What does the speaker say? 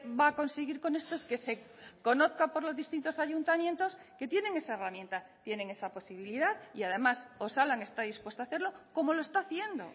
va a conseguir con esto es que se conozca por los distintos ayuntamientos que tienen esa herramienta tienen esa posibilidad y además osalan está dispuesto a hacerlo como lo está haciendo